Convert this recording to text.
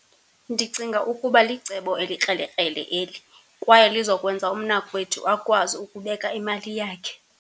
Ndicinga ukuba licebo elikrelekrele eli, kwaye lizokwenza umnakwethu akwazi ukubeka imali yakhe.